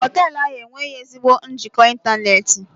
Hoteelu ahụ enweghị ezigbo njikọ ịntanetị.